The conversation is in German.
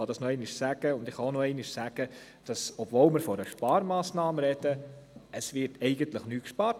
Und nochmals: Obwohl von einer Sparmassnahme die Rede ist, wird eigentlich nichts gespart.